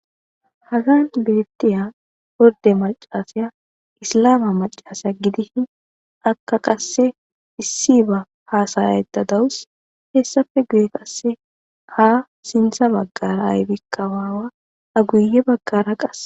Dagan bettiya borde macasaya islama macasa gidii akka qasse issi ba haasayaetta dawus hessafe guye qasse ha sintha baggara aybikka waawa a guye baggara qase.